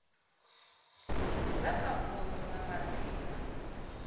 dza kha vundu dza madzina